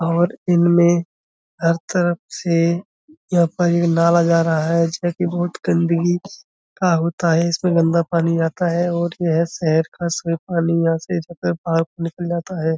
और इनमें हर तरफ से यहाँ पर ये नाला जा रहा है जो कि बहुत गंदगी का होता है। इसमें गन्दा पानी आता है और ये शहर का सभी पानी यहाँ से जाकर पार निकल जाता है।